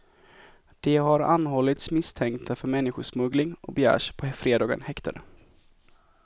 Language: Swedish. De har anhållits misstänkta för människosmuggling och begärs på fredagen häktade.